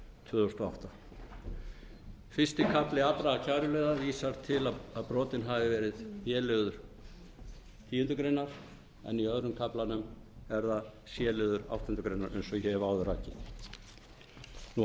tvö þúsund og átta fyrsti kafli allra kæruliða vísar til að brotin hafi verið b liður tíundu greinar en í öðrum kaflanum er það c liður áttundu greinar eins og ég hef áður rakið